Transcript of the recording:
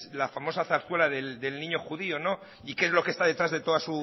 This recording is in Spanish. la famosa zarzuela del niño judío y que es lo que está detrás de toda